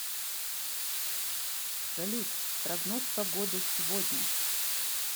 салют прогноз погоды сегодня